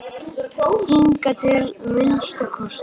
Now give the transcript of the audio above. Hingað til að minnsta kosti.